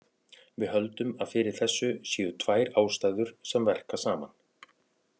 Við höldum að fyrir þessu séu tvær ástæður sem verka saman.